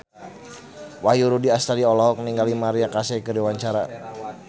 Wahyu Rudi Astadi olohok ningali Maria Carey keur diwawancara